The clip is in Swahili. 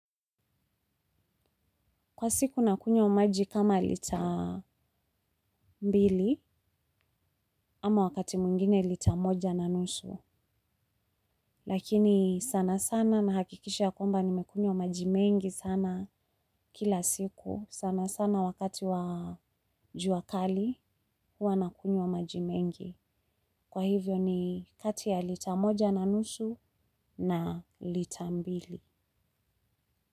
Kwa siku nakunywa maji kama lita mbili, ama wakati mwingine lita moja na nusu. Lakini sana sana nahakikisha ya kwamba nimekunywa maji mengi sana kila siku. Sana sana wakati wa jua kali, huwa nakunywa maji mengi. Kwa hivyo ni kati ya lita moja na nusu na lita mbili.